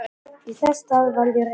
Þess í stað varð ég reiður.